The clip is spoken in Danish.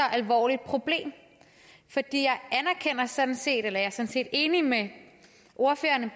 alvorligt problem jeg er sådan set enig med ordførerne